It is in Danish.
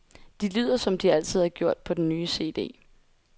De lyder, som de altid har gjort på den nye cd.